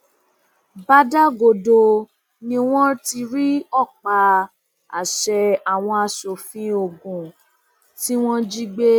bàdàgodo ni wọn ti rí ọpá um àṣẹ àwọn aṣòfin ogun um tí wọn jí gbé